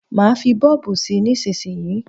Má fí bọ́ọ̀bù sí nísísíyí.